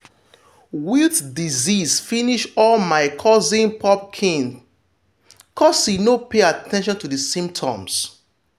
wilt disease finish all my cousin pumpkin cos he no pay at ten tion to the symptoms